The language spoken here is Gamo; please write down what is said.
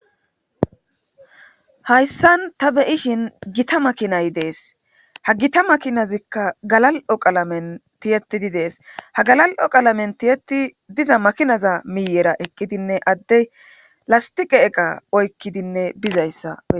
Hayssan ta beyishin gita makinay dees ha gita makinazikka galal7o qalamen tiyetidi dees ha galal7o qalamen tiyeti diza makinaza miiyera eqqidinne addey lastiqe eqa oykkidinne bizayssa.